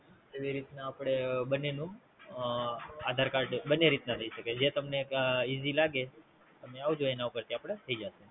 જેવી રીત ના આપડે બંને નું અ આધાર કાર્ડ બને રીતમાં થઈ શકે છે. જે તમને ઈજી લાગે, તમે આવજો એના ઉપેર થી આપડે થઈ જશે.